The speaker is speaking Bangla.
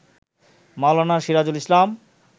মাওলানা সিরাজুল ইসলাম